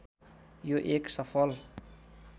यो एक सफल